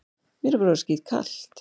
Mér er bara orðið skítkalt.